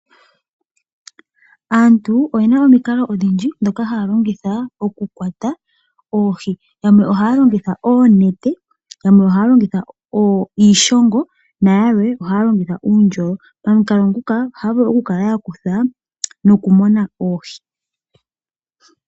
Aantu oyena omikalo odhindji dhoka haya longitha dhokukwata oohi, yamwe haa longitha oonete, iishongo nayalwe ohaya longitha uundjolo pamikalo dhika otaa vulu okumona oohi.